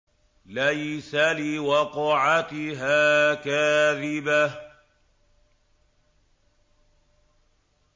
لَيْسَ لِوَقْعَتِهَا كَاذِبَةٌ